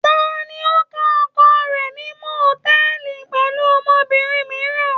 Ta ni ó ká oko rẹ̀ ní mòtẹ́ẹ́lì pẹ̀lú obìnrin mìíràn?